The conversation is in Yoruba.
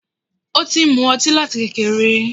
Ó ti ń mú ọtí láti kékeré.